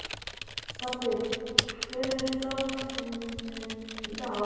Baddi, hver er dagsetningin í dag?